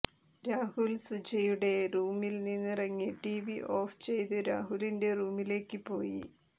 രാഹുൽ സുജയുടെ റൂമിൽ നിന്നിറങ്ങി ടീവി ഓഫ് ചെയ്ത് രാഹുലിന്റെ റൂമിലേക്ക് പോയി